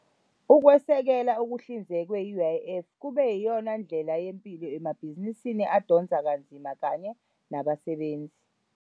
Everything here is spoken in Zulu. Ukwesekela okuhlinzekwe yi-UIF kube yiyona ndlela yempilo emabhizinisini adonsa kanzima kanye nabasebenzi.